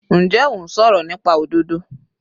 Njẹ́ ò ń sọ̀rọ̀ nípa òdodo?